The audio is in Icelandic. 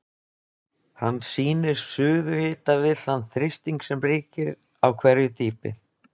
Hann sýnir suðuhita við þann þrýsting sem ríkir á hverju dýpi.